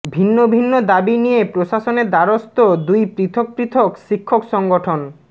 ভিন্ন ভিন্ন দাবি নিয়ে প্রশাসনের দ্বারস্থ দুই পৃথক পৃথক শিক্ষক সংগঠন